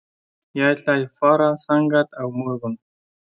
Ég ætla að fara þangað á morgun.